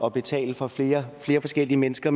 at betale for flere forskellige mennesker